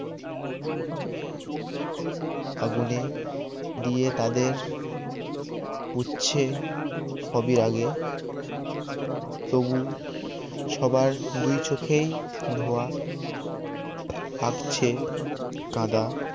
আগুনে দিয়ে তাদের উচ্ছে সবই আগে তবু সবার দুই চোখেই ধোয়া আকছে কাঁদা